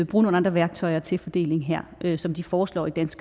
bruge nogle andre værktøjer til fordeling her ligesom de foreslår det